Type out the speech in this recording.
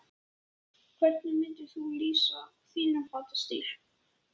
Leggurðu mikið á þig til að bæta þig sem leikmann?